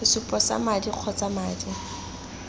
sesupo sa madi kgotsa madi